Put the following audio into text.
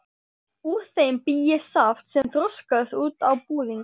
Úr þeim bý ég saft sem þroskast út á búðing.